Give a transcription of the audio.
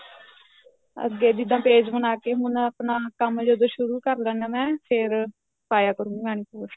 ਅੱਗੇ ਜਿੱਦਾਂ page ਬਣਾ ਕੇ ਹੁਣ ਕੰਮ ਜਦੋਂ ਸ਼ੁਰੂ ਕਰ ਦੇਣਾ ਮੈਂ ਫੇਰ ਪਾਇਆ ਕਰੁ ਯਾਨੀ post